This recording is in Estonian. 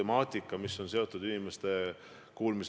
Aitäh!